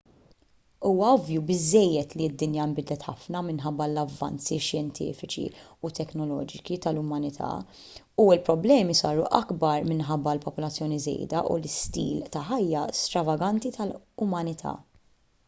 huwa ovvju biżżejjed li d-dinja nbidlet ħafna minħabba l-avvanzi xjentifiċi u teknoloġiċi tal-umanità u l-problemi saru akbar minħabba l-popolazzjoni żejda u l-istil ta' ħajja stravaganti tal-umanità